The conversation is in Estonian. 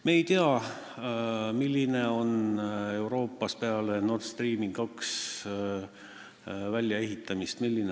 Me ei tea, milline on Euroopas gaasi hind peale Nord Stream 2 valmisehitamist.